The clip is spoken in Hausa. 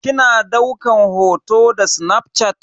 Kina daukan hoto da snafshat?